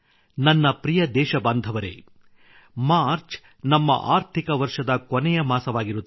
ನನ್ನ ಪ್ರಿಯ ದೇಶಬಾಂಧವರೆ ಮಾರ್ಚ್ ನಮ್ಮ ಆರ್ಥಿಕ ವರ್ಷದ ಕೊನೆಯ ಮಾಸವಾಗಿರುತ್ತದೆ